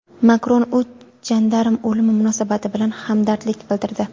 Makron uch jandarm o‘limi munosabati bilan hamdardlik bildirdi.